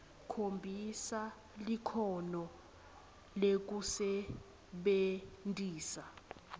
khombisa likhono lekusebentisa